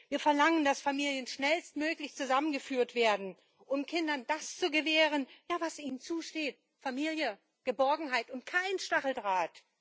Wir verlangen, dass Familien schnellstmöglich zusammengeführt werden und Kindern das gewährt wird, was ihnen zusteht Familie und Geborgenheit und kein Stacheldraht!